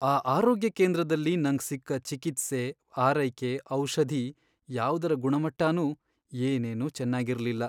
ಆ ಆರೋಗ್ಯ ಕೇಂದ್ರದಲ್ಲಿ ನಂಗ್ ಸಿಕ್ಕ ಚಿಕಿತ್ಸೆ, ಆರೈಕೆ, ಔಷಧಿ ಯಾವ್ದರ ಗುಣಮಟ್ಟನೂ ಏನೇನೂ ಚೆನ್ನಾಗಿರ್ಲಿಲ್ಲ.